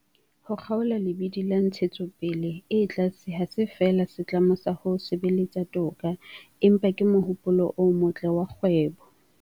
Ho kgaola lebidi la ntshetsopele e tlase ha se feela setlamo sa ho sebeletsa toka, empa ke mohopolo o motle wa kgwebo.